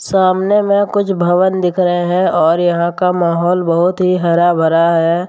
सामने में कुछ भवन दिख रहे हैं और यहां का माहौल बहुत ही हरा भरा है।